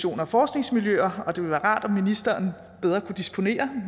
og forskningsmiljøer og det ville være rart om ministeren bedre kunne disponere